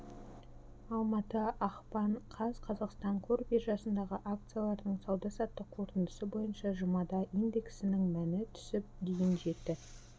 алматы ақпан қаз қазақстан қор биржасындағы акциялардың сауда-саттық қорытындысы бойынша жұмада индексінің мәні түсіп дейін жетті